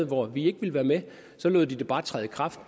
hvor vi ikke ville være med så lod de det bare træde i kraft